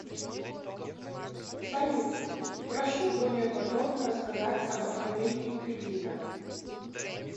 салют прошу более подробно рассказать об оформлении кредита